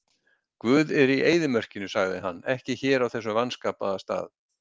Guð er í eyðimörkinni, sagði hann, ekki hér á þessum vanskapaða stað.